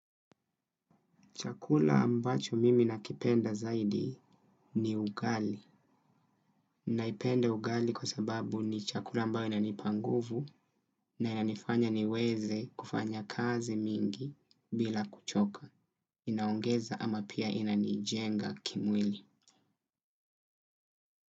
Chakula ambacho mimi nakipenda zaidi ni ugali. Naipenda ugali kwa sababu ni chakula ambayo inanipa nguvuni na inanifanya niweze kufanya kazi mingi bila kuchoka. Inaongeza ama pia inanijenga kimwili.